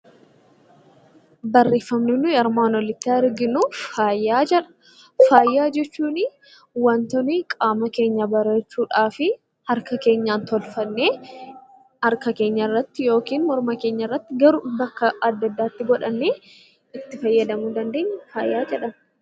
Faaya jechuun wantoonni qaama keenya bareechuudhaaf harka keenyaan tolfannee harka keenyarratti yookiin morma keenyarratti bakka adda addaatti godhannee itti fayyadamuu dandeenyu faaya jedhama.